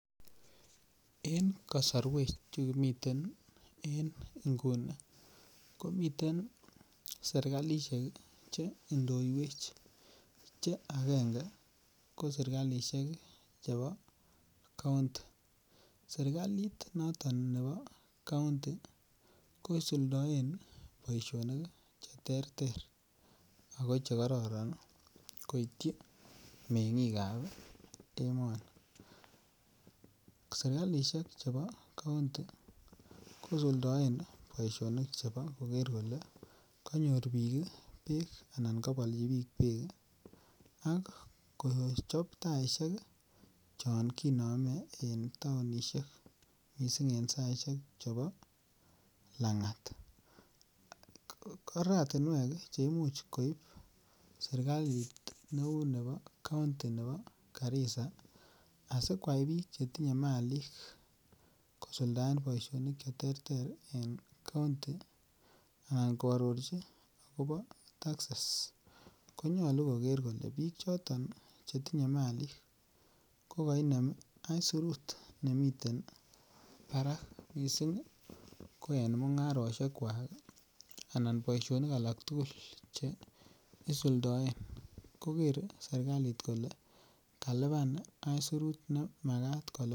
En kasarwek chu kimiten en nguni komiten serkalisiek Che indoiwech Che agenge ko serkalisiek chebo kaunti serkalit noton nebo kaunti kosuldaen boisionik Che terter ago Che karoron koityi mengik ab emoni serkalisiek chebo kaunti kosuldaen chebo koker kole kanyor bik bek anan kabolnji bik bek ak kochob taisiek chon kinome en taonisiek mising en saisiek chebo Langat oratinwek Che Imuch koib serkalit neu nebo kaunti nebo Garissa asi kwai bik Che tinye Malik kosuldaen boisinik Che terter en kaunti anan koarorchi agobo taxes ko nyolu koger kole bik choton Che tinye Malik kokoinem aisurut nemiten barak mising ko en mungarosiek kwak anan boisionik alak tugul Che isuldoen koger serkalit kole kalipan aisurut ne Makat kolipan